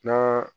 Na